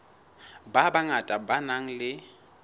ba bangata ba nang le